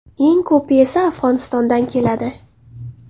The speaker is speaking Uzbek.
Eng ko‘pi esa Afg‘onistondan keladi.